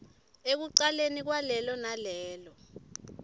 ekucaleni kwalelo nalelo